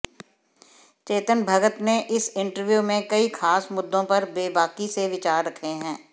चेतन भगत ने इस इंटरव्यू में कई खास मुद्दों पर बेबाकी से विचार रखे हैं